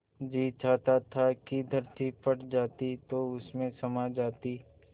जी चाहता था कि धरती फट जाती तो उसमें समा जाती